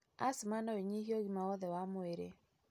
Asthma noĩnyihie ũgima wothe wa mwĩrĩ.